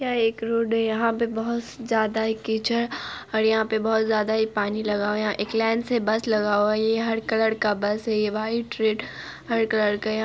यह एक रोड है यहाँ पे बहुत ज़्यादा ही कीचड़ और यहां पे बहुत ज़्यादा ही पानी लगा हुआ है यहाँ एक लाइन से बस लगा हुआ है ये हर कलर का बस है ये व्हाइट रेड हर कलर का यहां --